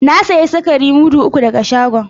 Na sayi sukari mudu uku daga shagon.